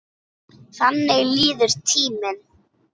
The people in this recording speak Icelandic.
Þannig líður tíminn.